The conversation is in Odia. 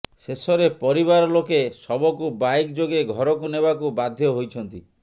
ଶେଷରେ ପରିବାର ଲୋକେ ଶବକୁ ବାଇକ ଯୋଗେ ଘରକୁ ନେବାକୁ ବାଧ୍ୟ ହୋଇଛନ୍ତି